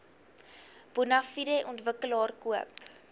bonafide ontwikkelaar koop